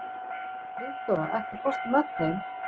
Friðdóra, ekki fórstu með þeim?